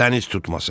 Dəniz tutması.